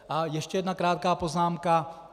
A ještě jedna krátká poznámka.